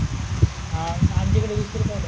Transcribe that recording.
हा आमच्याकडे वीस रुपयाला आहे.